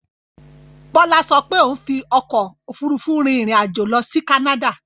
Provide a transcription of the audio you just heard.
Bọ́lá ṣo pé òun fi ọkò òfurufú rin ìrìn àjò lọ sí Canada.